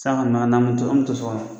San kɔni ma na na, an bi to so kɔnɔ.